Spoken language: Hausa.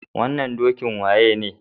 Wannan dokin waye ne?